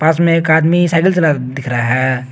पास में एक आदमी साइकिल चलाता दिख रहा है।